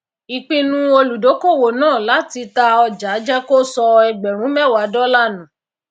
ìpinu olùdókòwò náà láti ta ọjà jé kó sọ ẹgbèrún méwà dólà nù